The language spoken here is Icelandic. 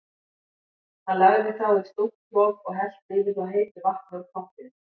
Hann lagði þá í stórt trog og hellti yfir þá heitu vatni úr pottinum.